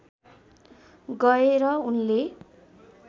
गएर उनले